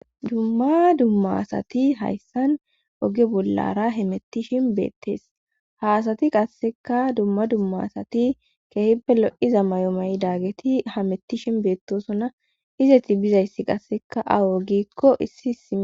Dumma dummasati hayssan oge bollara hemettishin beettees haasati qasseka dumma dummasati keehippe lo.iza mayomayi daageti hamettishin beettosona izeti bizayssi qasseka aw wogikko issi isia.